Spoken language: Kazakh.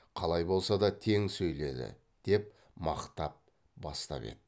қалай болса да тең сөйледі деп мақтап бастап еді